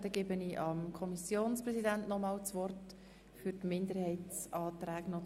Ich gebe somit das Wort dem Sprecher der SiK für die Kommentierung der Minderheitsanträge.